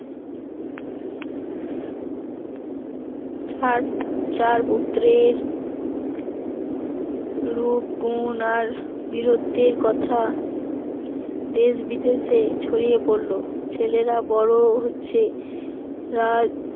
তার চার পুত্রের রূপ গুণ আর বীরত্বের কথা দেশ-বিদেশে ছড়িয়ে পড়ল ছেলেরা বড় হচ্ছে রাজ